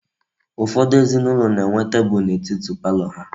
Ufodu ezinaulo na-enwe teebul n'etiti parlor ha